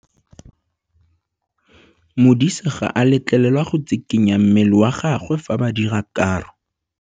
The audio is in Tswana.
Modise ga a letlelelwa go tshikinya mmele wa gagwe fa ba dira karô.